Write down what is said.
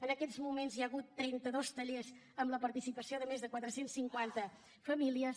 en aquests moments hi hagut trenta dos tallers amb la participació de més de quatre cents i cinquanta famílies